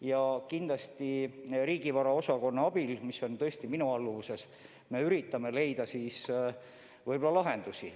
Ja kindlasti riigivara osakonna abil, mis on tõesti minu alluvuses, me üritame leida lahendusi.